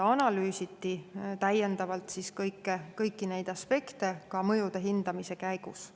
Analüüsiti täiendavalt kõiki neid aspekte ka mõjude hindamise käigus.